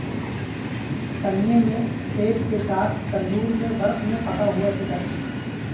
سنیے میں سیب کے ساتھ تندور میں ورق میں پکا ہوا چکن